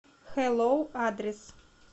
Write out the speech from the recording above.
хэллоу адрес